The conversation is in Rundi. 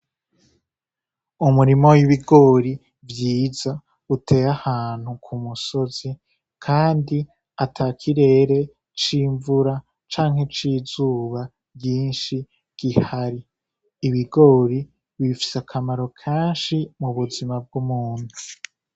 Umurima w'ibigori vyiza uteye ahantu k'umusozi kandi atakirere c'imvura Canke c'izuba ryinshi gihari , ibigori bifise akamaro kenshi mu buzima bw'umuntu.